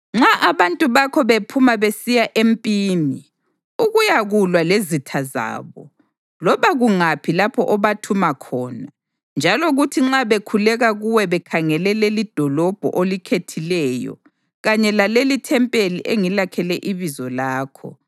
Nxa abantu bakho bephuma besiya empini ukuyakulwa lezitha zabo, loba kungaphi lapho obathuma khona, njalo kuthi nxa bekhuleka kuwe bekhangele lelidolobho olikhethileyo kanye lalelithempeli engilakhele iBizo lakho,